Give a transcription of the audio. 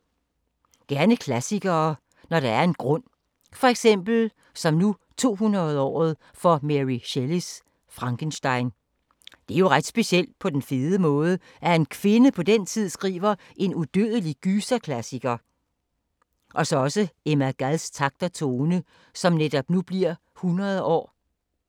Gerne klassikere, når der er en grund. For eksempel 200-året for Mary Shelleys Frankenstein. Det er jo ret specielt, på den fede måde, at en kvinde på den tid skriver en udødelig gyserklassiker. Eller Emma Gads takt og tone som bliver 100 år.